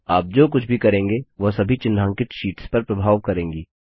आप जो कुछ भी करेंगे वह सभी चिन्हांकित शीट्स पर प्रभाव करेंगी